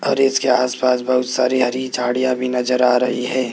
और इसके आसपास बहुत सारी हरी झाड़ियां भी नजर आ रही है।